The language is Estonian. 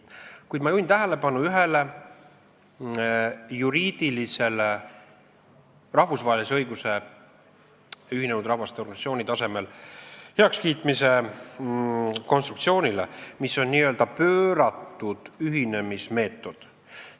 Kuid ma juhin tähelepanu ühele juriidilisele rahvusvahelise õiguse ÜRO tasemel heakskiitmise konstruktsioonile, mis on n-ö pööratud ühinemismeetod.